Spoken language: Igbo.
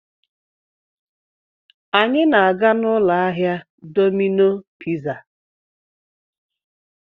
Anyị na-aga n'ụlọ ahịa Dọmino piza.